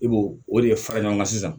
I b'o o de fara ɲɔgɔn kan sisan